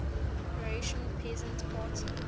croatian peasant party